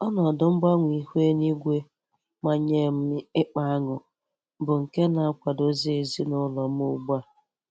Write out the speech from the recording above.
Ọnọdụ mgbanwe ihu eluigwe manyee m ịkpa añụ bụ nke na-akwadozi ezina ụlọ m ugbu a.